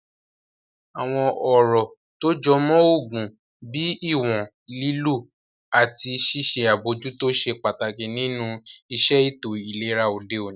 Àwọn ọ̀rọ̀ tó jọ mọ́ oògùn bíi ìwọ̀n lílò àti ṣíṣe àbojútó ṣe pàtàkì nínu iṣẹ́ ètò ìlera òde òní